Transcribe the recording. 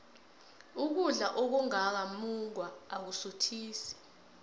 ukudla okungaka mungwa akusuthisi